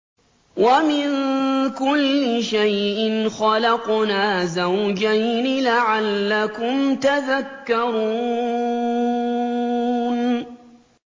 وَمِن كُلِّ شَيْءٍ خَلَقْنَا زَوْجَيْنِ لَعَلَّكُمْ تَذَكَّرُونَ